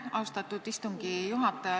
Austatud istungi juhataja!